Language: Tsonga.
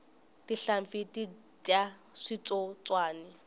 tinhlampfi ti dya switsotswani